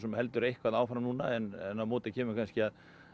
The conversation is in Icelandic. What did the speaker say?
heldur eitthvað áfram en á móti kemur að